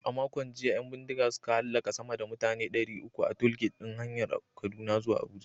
A makon jiya, 'yan bindiga suka hallaka sama da mutane ɗari uku a tollgate ɗin hanyar Kaduna zuwa Abuja.